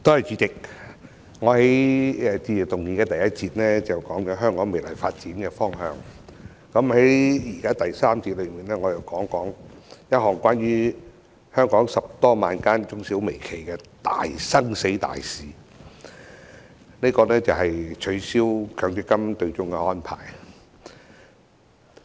主席，我在致謝議案的首個辯論環節，談了香港未來的發展方向，現時在第三個環節，我想談談關乎香港10多萬間中小微企生死的大事，便是取消強制性公積金對沖的安排。